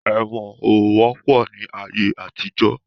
Ẹ̀wọ̀n ó wọ́pọ̀ ni ayé àtijọ́